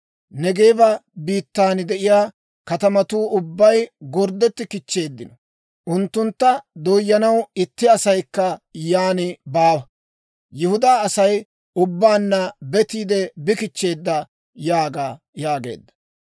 Neegeeba biittan de'iyaa katamatuu ubbay gorddetti kichcheeddino. Unttunttu dooyanaw itti asaykka yaan baawa. Yihudaa Asay ubbaanna betiide bi kichcheedda› yaaga» yaageedda.